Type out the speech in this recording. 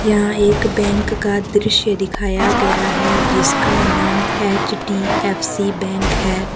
यहां एक बैंक का दृश्य दिखाया गया है। जिसका नाम एच_डी_एफ_सी बैंक है।